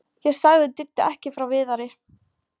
Ég sagði Diddu ekki frá Viðari.